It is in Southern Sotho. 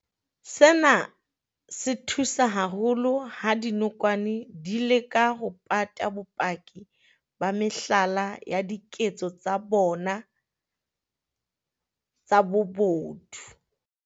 Sena se thusa haholo ha dinokwane di ka leka ho pata bopaki ba mehlala ya diketso tsa tsona tsa bobodu.